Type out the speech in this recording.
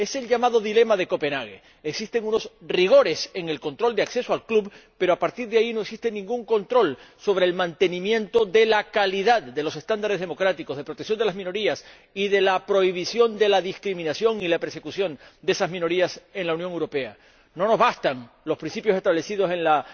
Es el llamado dilema de Copenhague existen unos rigores en el control de acceso al club, pero a partir de ahí no existe ningún control sobre el mantenimiento de la calidad de los estándares democráticos, de protección de las minorías y de prohibición de la discriminación y la persecución de esas minorías en la Unión Europea. No nos bastan los principios establecidos en la